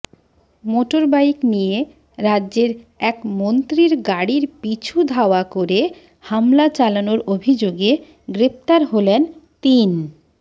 motorbike নিয়ে রাজ্যের এক মন্ত্রীর গাড়ির পিছু ধাওয়া করে হামলা চালানোর অভিযোগে গ্রেফতার হলেন তিন